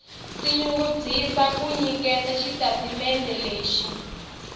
tinyungubyisa ku nyiketa xitatimendhe lexi